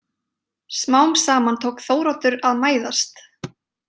Smám saman tók Þóroddur að mæðast.